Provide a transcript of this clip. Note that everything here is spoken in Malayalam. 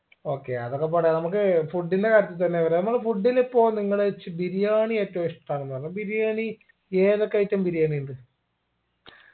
okay അതൊക്കെ പോട്ടെ നമ്മക്ക് food ന്റെ കാര്യത്തി തന്നെ വരാ നമ്മൾ food ലിപ്പോ നിങ്ങള്ച് ബിരിയാണി ഏറ്റവും ഇഷ്ട്ടാണെന്ന് പറഞ്ഞു ബിരിയാണി ഏതൊക്കെ item ബിരിയാണി ഇണ്ട്